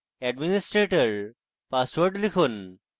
administrator password লিখুন